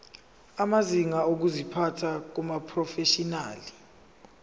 amazinga okuziphatha kumaprofeshinali